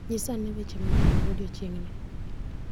Nyisa ane weche manyien mag odiechieng'ni.